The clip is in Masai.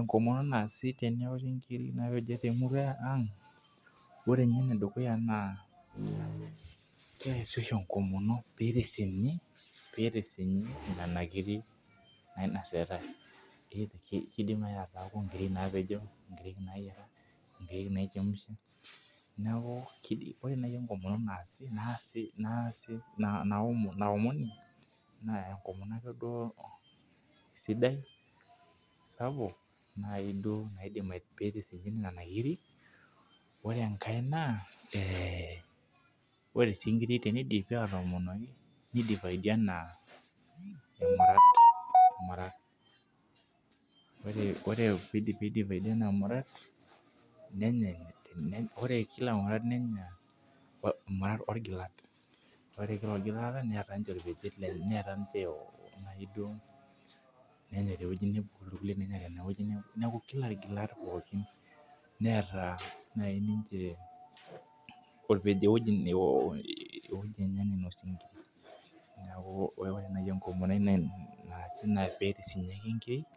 Enkomono naasi teneori inkirik naa ikijo tee murua ang' ore ninye ene dukuya naa kesa oshi enkomoni pee itisinyi nena kirik nai nasitai. Kidim naji ataaku inkirik napejo inkirik nayira inkirik naichemusha. Neeku ore naji enkomono naasi naomoni naa enkomono ake duo sidai sapuk nai duo pitisinyi nena kirik. Ore enkae naa ore inkirik tenidipi atoomonoki naa imayianat. Ore pidipi ina mirat nenyae. Ore kila murata nenya kila irmuta loo irgilat ore kila orgilata neeta ninche naii duo nenya tee wei nebo neeku kila irgilat pookin neeta naji ninche orpejeoj eweji enye nainos inkiriki neeku ore naji enkomono ai naasi naa pisitisinyi ake nkiriki